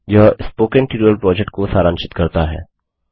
यह spoken tutorial project को सारांशित करता है